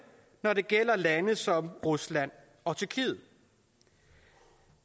når det gælder lande som rusland og tyrkiet